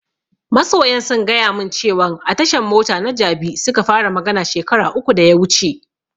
Masoyan sun gaya mun cewan a tashan mota na jabi suka fara magana shekara uku da ya wuce